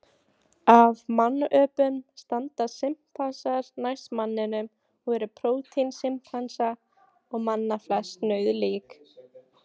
Af mannöpunum standa simpansar næst manninum og eru prótín simpansa og manna flest nauðalík.